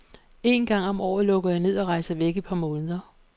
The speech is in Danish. En gang om året lukker jeg ned og rejser væk et par måneder.